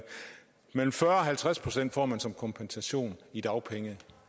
men mellem fyrre og halvtreds procent får man som kompensation i dagpenge